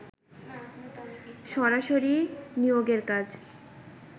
সরাসরি নিয়োগের কাজ